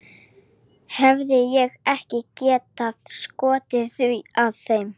Hefði ég ekki getað skotið því að þeim